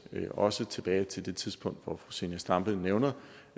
også tilbage til det tidspunkt som fru zenia stampe nævner